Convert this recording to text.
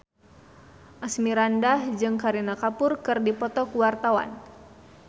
Asmirandah jeung Kareena Kapoor keur dipoto ku wartawan